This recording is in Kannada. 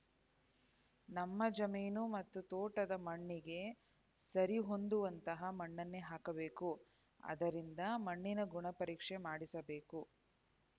ನಮ್ಮ ಜಮೀನು ಮತ್ತು ತೋಟದ ಮಣ್ಣಿಗೆ ಸರಿಹೊಂದುವಂತಹ ಮಣ್ಣನ್ನೇ ಹಾಕಬೇಕು ಆದ್ದರಿಂದ ಮಣ್ಣಿನ ಗುಣಪರೀಕ್ಷೆ ಮಾಡಿಸಬೇಕು